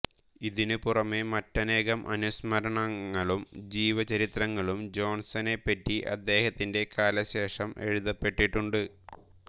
ഇതിനുപുറമെ മറ്റനേകം അനുസ്മരണങ്ങളും ജീവചരിത്രങ്ങളും ജോൺസണെപ്പറ്റി അദ്ദേഹത്തിന്റെ കാലശേഷം എഴുതപ്പെട്ടിട്ടുണ്ട്